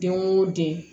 Den wo den